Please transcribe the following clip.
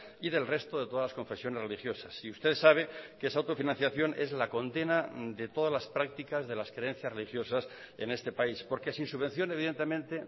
y del resto de todas las confesiones religiosas y usted sabe que esa autofinanciación es la condena de todas las prácticas de las creencias religiosas en este país porque sin subvención evidentemente